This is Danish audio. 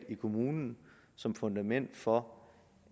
kommunen som fundament for